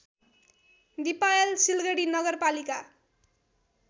दिपायल सिलगढी नगरपालिका